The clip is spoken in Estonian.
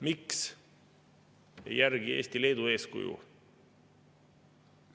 Miks ei järgi Eesti Leedu eeskuju?